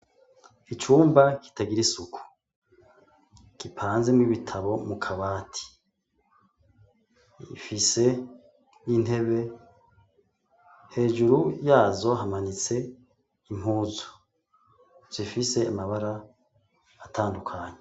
Icumba kitagira isuku gipanzemwo ibitabo mu kabati ifise intebe hejuru yazo hamanitse impuzu zifise amabara atandukanye.